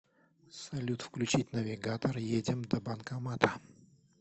салют включить навигатор едем до банкомата